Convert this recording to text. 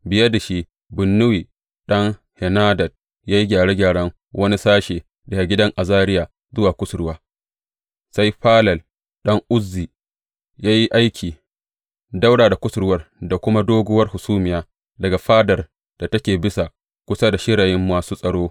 Biye da shi, Binnuyi ɗan Henadad ya yi gyaran wani sashe, daga gidan Azariya zuwa kusurwa, sai Falal ɗan Uzai ya yi aiki ɗaura da kusurwa da kuma doguwar hasumiya daga fadar da take bisa kusa da shirayin masu tsaro.